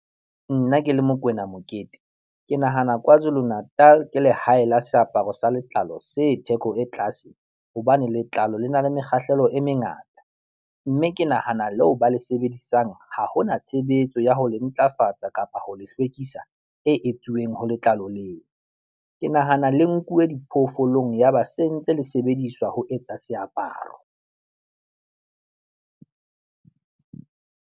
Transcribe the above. Nna ke le Mokoena Mokete, ke nahana Kwazulu-Natal ke lehae la seaparo sa letlalo se theko e tlaase hobane letlalo le na le mekgahlelo e mengata mme ke nahana leo ba le sebedisang ha hona tshebetso ya ho le ntlafatsa kapa ho le hlwekisa e etsuweng ho letlalo leo. Ke nahana le nkuwe diphoofolong yaba se ntse le sebediswa ho etsa seaparo.